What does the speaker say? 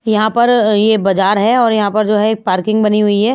यहाँ पर ये बाजार है और यहाँ पर जो है एक पार्किंग बनी हुई है।